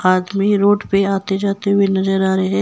आदमी रोड पर आते जाते हुए नजर आ रहे हैं।